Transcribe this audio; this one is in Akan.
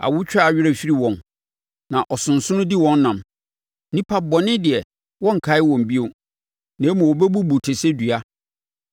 Awotwaa werɛ firi wɔn, na ɔsonsono di wɔn nam; nnipa bɔne deɛ, wɔnnkae wɔn bio na mmom wɔbubu te sɛ dua.